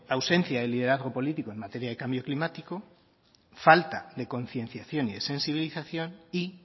ausencia de liderazgo político en materia de cambio climático falta de concienciación y de sensibilización y